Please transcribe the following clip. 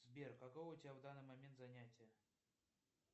сбер какое у тебя в данный момент занятие